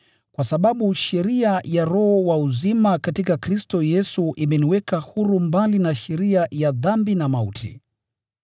Kwa sababu sheria ya Roho wa uzima katika Kristo Yesu imeniweka huru mbali na sheria ya dhambi na mauti.